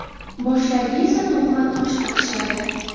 Boshlariga esa to‘qima toj taqishadi.